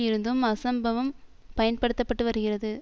இருந்தும் அசம்பவம் பயன்படுத்த பட்டு வருகிறது